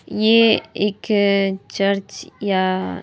यह एक चर्च या--